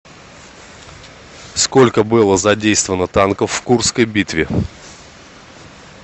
сколько было задействовано танков в курской битве